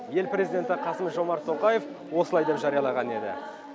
ел президенті қасым жомарт тоқаев осылай деп жариялаған еді